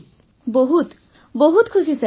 ବର୍ଷାବେନ୍ ବହୁତ ବହୁତ ଖୁସି ସାର୍